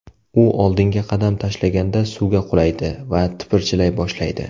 U oldinga qadam tashlaganda suvga qulaydi va tipirchilay boshlaydi.